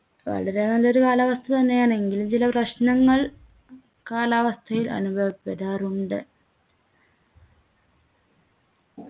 വളരെ നല്ലൊരു കാലാവസ്ഥ തന്നെയാണ് എങ്കിലും ചില പ്രശ്നങ്ങൾ കാലാവസ്ഥയിൽ അനുഭവപ്പെടാറുണ്ട്